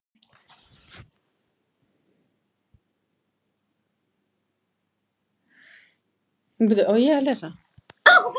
Settu smá vatn ef þarf.